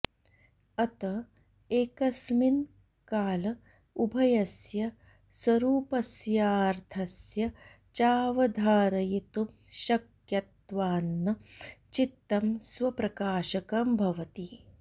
अत एकस्मिन् काल उभयस्य स्वरूपस्याऽर्थस्य चावधारयितुमशक्यत्वान्न चित्तं स्वप्रकाशकं भवति